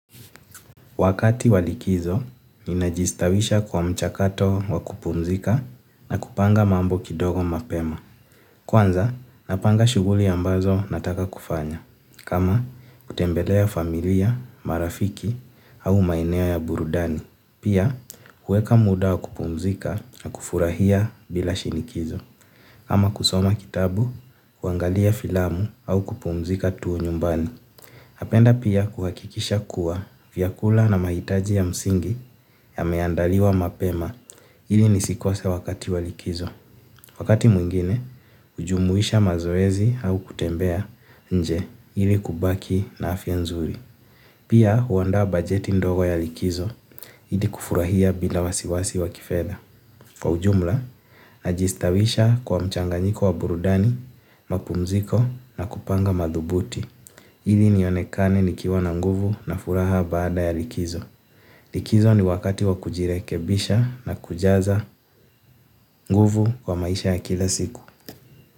Wakati wa likizo, ninajistawisha kwa mchakato wa kupumzika na kupanga mambo kidogo mapema. Kwanza, napanga shughuli ambazo nataka kufanya. Kama, kutembelea familia, marafiki au maeneo ya burudani. Pia, kuweka muda wa kupumzika na kufurahia bila shinikizo. Kama kusoma kitabu, kuangalia filamu au kupumzika tu nyumbani. Napenda pia kuhakikisha kuwa vyakula na mahitaji ya msingi yameandaliwa mapema ili nisikose wakati wa likizo. Wakati mwingine, hujumuisha mazoezi au kutembea nje ili kubaki na afya nzuri. Pia huandaa bajeti ndogo ya likizo ili kufurahia bila wasiwasi wa kifedha. Kwa ujumla, najistawisha kwa mchanganyiko wa burudani, mapumziko na kupanga madhubuti. Ili nionekane nikiwa na nguvu na furaha baada ya likizo. Likizo ni wakati wa kujirekebisha na kujaza nguvu kwa maisha ya kila siku.